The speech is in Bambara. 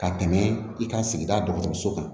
Ka tɛmɛ i ka sigida dɔgɔtɔrɔso kan